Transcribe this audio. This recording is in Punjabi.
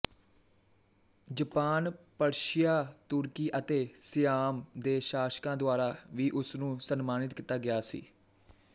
ਜਪਾਨ ਪਰਸ਼ੀਆ ਤੁਰਕੀ ਅਤੇ ਸਿਆਮ ਦੇ ਸ਼ਾਸਕਾਂ ਦੁਆਰਾ ਵੀ ਉਸਨੂੰ ਸਨਮਾਨਿਤ ਕੀਤਾ ਗਿਆ ਸੀ